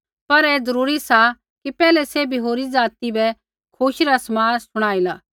पर ऐ ज़रूरी सा कि पैहलै सैभी होरी ज़ाति बै खुशी रा समाद शुणाइला